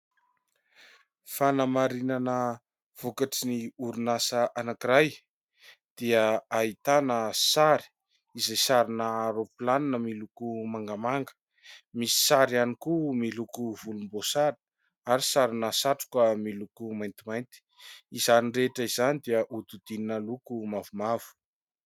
Fanamarinana vokatry ny orinasa anankiray dia ahitana sary izay sarina aeroplanina miloko mangamanga misy sary ihany koa miloko volombosary ary sarina satroka miloko maintimainty. Izany rehetra izany dia hodidinina loko mavomavo.